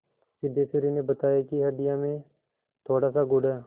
सिद्धेश्वरी ने बताया कि हंडिया में थोड़ासा गुड़ है